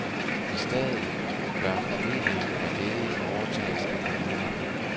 I stedet bør formidlingen af ledige overtages af kommunerne.